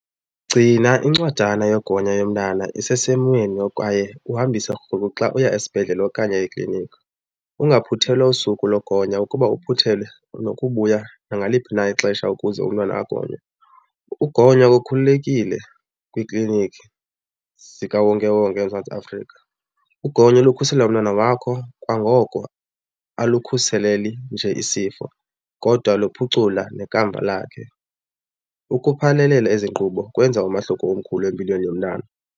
Gcina incwadana yogonya yomntana isesimweni kwaye uhambise rhulu xa uya esibhedlele okanye ekliniki. Ungaphuthelwa usuku logonya, ukuba uphuthelwe unokubuya nangaliphi na ixesha ukuze umntwana agonywe. Ukugonywa kukhululekile kwiiklinikhi zikawonkewonke eMzantsi Afrika. Ugonyo lukhusela umntana wakho kwangoko, alukhuseleli nje isifo kodwa luphucula nekamva lakhe. Ukuphanelela ezi nkqubo kwenza umahluko omkhulu empilweni yomntana.